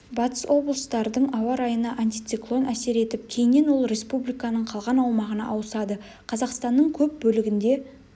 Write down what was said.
батыс облыстардың ауа райына антициклон әсер етіп кейіннен ол республиканың қалған аумағына ауысады қазақстанның көп бөлігінде